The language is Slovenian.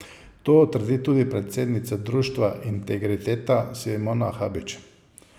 To trdi tudi predsednica Društva Integriteta Simona Habič.